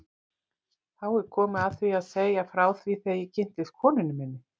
Þá er komið að því að segja frá því þegar ég kynntist konunni minni.